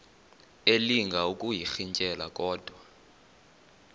elinga ukuyirintyela kodwa